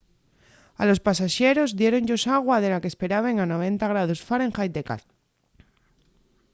a los pasaxeros diéron-yos agua de la qu’esperaben a 90ºf de calor